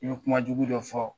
I ye kuma jugu dɔ fɔ